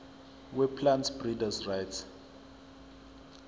weplant breeders rights